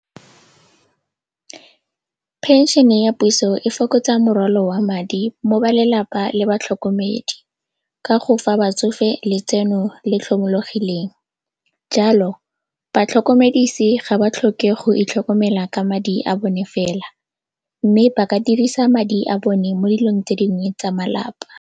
Phenšene ya puso e fokotsa morwalo wa madi mo ba lelapa le batlhokomedi ka go fa batsofe letseno le tlhomologileng, jalo batlhokomedise ga ba tlhoke go itlhokomela ka madi a bone fela mme ba ka dirisa madi a bone mo dilong tse dingwe tsa malapa.